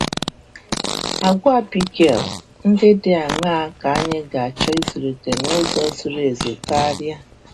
Agwa Abigail ndị dị aṅaa ka anyị ga-achọ ịzụlite n’ụzọ zuru ezu karịa?